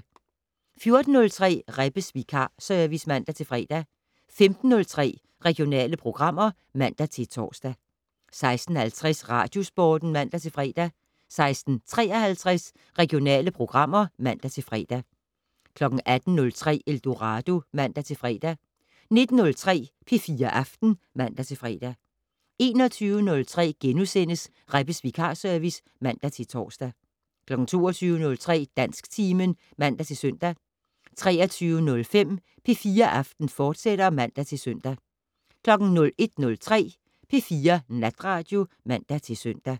14:03: Rebbes vikarservice (man-fre) 15:03: Regionale programmer (man-tor) 16:50: Radiosporten (man-fre) 16:53: Regionale programmer (man-fre) 18:03: Eldorado (man-fre) 19:03: P4 Aften (man-fre) 21:03: Rebbes vikarservice *(man-tor) 22:03: Dansktimen (man-søn) 23:05: P4 Aften, fortsat (man-søn) 01:03: P4 Natradio (man-søn)